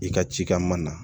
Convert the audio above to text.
I ka cikɛ ma